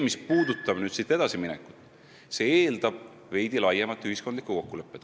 Mis puudutab edasiminekut, see eeldab veidi laiemat ühiskondlikku kokkulepet.